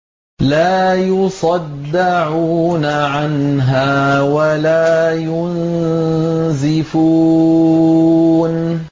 لَّا يُصَدَّعُونَ عَنْهَا وَلَا يُنزِفُونَ